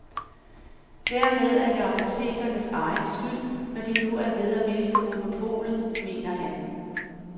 Dermed er det apotekernes egen skyld, når de nu er ved at miste monopolet, mener han.